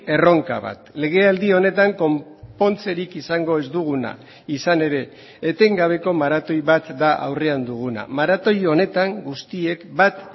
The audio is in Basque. erronka bat legealdi honetan konpontzerik izango ez duguna izan ere etengabeko maratoi bat da aurrean duguna maratoi honetan guztiek bat